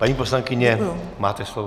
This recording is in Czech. Paní poslankyně, máte slovo.